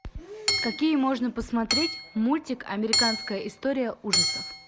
какие можно посмотреть мультик американская история ужасов